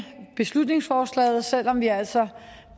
beslutningsforslaget selv om vi altså